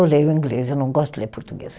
Eu leio o inglês, eu não gosto de ler português.